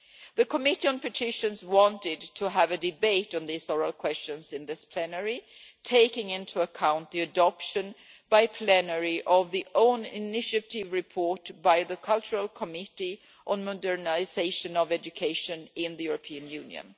The Committee on Petitions wanted to have a debate on these oral questions in this plenary, taking into account the adoption by plenary of the own initiative report by the Cultural Committee on modernisation of education in the European Union.